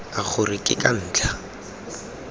a gore ke ka ntlha